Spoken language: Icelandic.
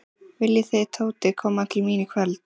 Viljið þið Tóti koma til mín í kvöld?